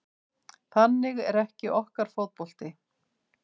Þannig er ekki okkar fótbolti